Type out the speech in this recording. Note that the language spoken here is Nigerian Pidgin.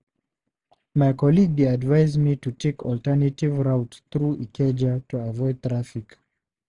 My colleague dey advise me to take alternative route through Ikeja to avoid traffic.